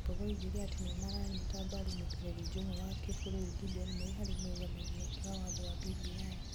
Mbogo oigire atĩ nĩ maranyita mbaru mũikarĩri njũng'wa wa kĩbũrũri Gideon Moi harĩ mũrũgamĩrĩ wake wa watho wa BBI.